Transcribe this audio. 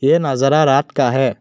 यह नजारा रात का है।